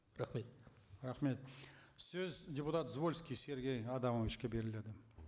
рахмет рахмет сөз депутат звольский сергей адамовичке беріледі